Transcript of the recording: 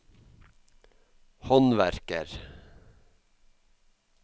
håndverker